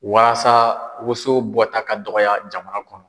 Waasa woson bɔta ka dɔgɔya jamana kɔnɔ.